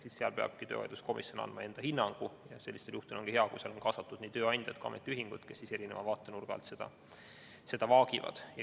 Seal peabki töövaidluskomisjon andma enda hinnangu ja sellistel juhtudel on hea, kui seal on kaasatud nii tööandja kui ka ametiühing, kes erineva vaatenurga alt seda vaagivad.